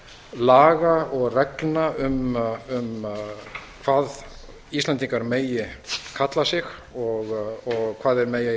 laga og reglna um hvað íslendingar megi kalla sig og hvað þeir megi